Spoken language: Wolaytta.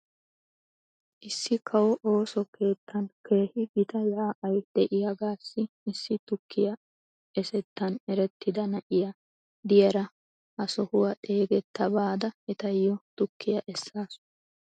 Issi kawo ooso keettan keehi gita yaa'ay de'iyaagaassi issi tukkiyaa esettan erettida na'iyaa diyaara hesohuwaa xeegetta baada etayyo tkkoyaa esaasu.